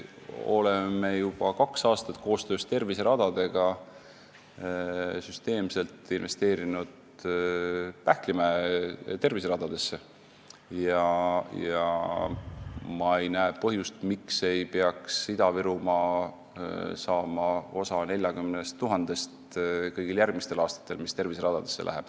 Aga Ida-Virumaal oleme koostöös terviseradade SA-ga juba kaks aastat süsteemselt investeerinud Pähklimäe terviseradadesse ja ma ei näe põhjust, miks ei peaks Ida-Virumaa saama kõigil järgmistel aastatel osa 40 000 eurost, mis terviseradadesse läheb.